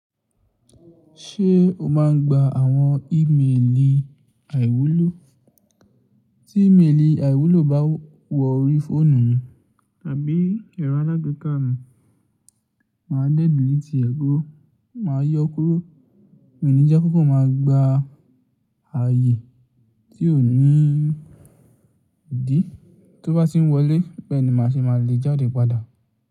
Ṣé o máa ń gba àwọn ímeèlì àìwúlò? Tí ímeèlì àìwúlò bá wọ ori fóònù mi tàbí ẹ̀rọ alágbèéká mi, màá dẹ́ delete kúrò. Màá yọ kúrò. Mi ò ní jẹ́ kó kò máa gba ààyè tí ò ní ìdí tó bá ti ń wọlé. Bẹ́ẹ̀ ni màá ṣe máa lè jáde padà.